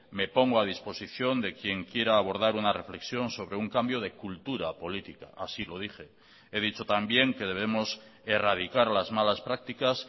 me pongo a disposición de quien quiera abordar una reflexión sobre un cambio de cultura política así lo dije he dicho también que debemos erradicar las malas prácticas